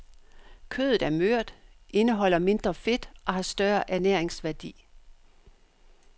Kødet er mere mørt, indeholder mindre fedt og har større ernæringsværdi.